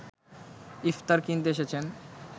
ইফতার কিনতে এসেছেন